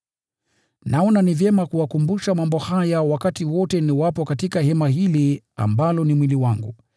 Naona ni vyema kuwakumbusha mambo haya wakati wote niwapo katika hema hili ambalo ni mwili wangu,